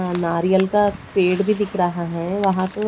आ नारियल का पेड़ भी दिख रहा है। वहां तो--